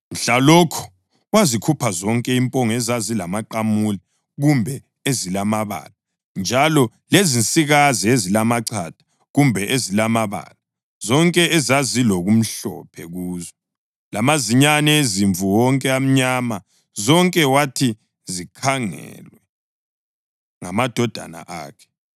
Mhlalokho wazikhupha zonke impongo ezazingamaqamule kumbe ezilamabala, njalo lezinsikazi ezilamachatha kumbe ezilamabala (zonke ezazilokumhlophe kuzo) lamazinyane ezimvu wonke amnyama zonke wathi zikhangelwe ngamadodana akhe.